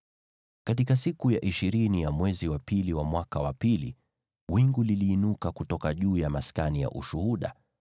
Katika siku ya ishirini ya mwezi wa pili wa mwaka wa pili, wingu liliinuka kutoka juu ya maskani ya Ushuhuda.